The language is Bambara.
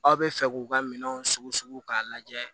Aw bɛ fɛ k'u ka minɛnw sugo k'a lajɛ